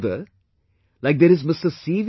Further like, there is Mr